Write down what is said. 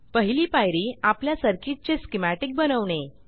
पहिली पायरी आपल्या सर्किटचे स्कीमॅटिक बनवणे